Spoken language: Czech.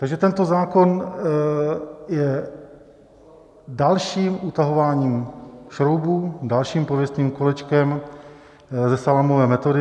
Takže tento zákon je dalším utahováním šroubů, dalším pověstným kolečkem ze salámové metody.